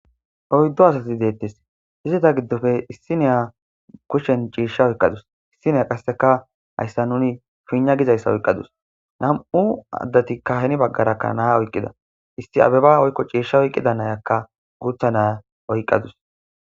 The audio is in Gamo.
oyddu asati deettes izita giddofe issi neya kushshen ciisha oyqqadus issineya qasseka hayssa nuni pinna gizayssa oyqqadus nam7u addati ka heni baggarakka naya oyqqida issi abeba oykko ciishsha oyqqida nayakka guutha naya oyqqadus